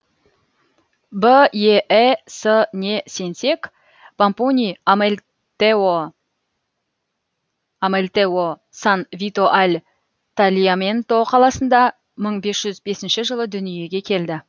беэс не сенсек помпоний амельтео сан вито аль тальяменто қаласында мың бес жүз бесінші жылы дүниеге келді